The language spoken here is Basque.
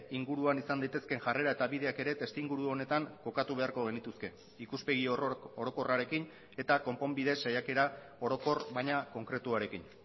inguruan izan daitezkeen jarrera eta bideak ere testuinguru honetan kokatu beharko genituzke ikuspegi orokorrarekin eta konponbide saiakera orokor baina konkretuarekin